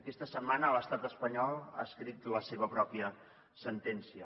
aquesta setmana l’estat espanyol ha escrit la seva pròpia sentència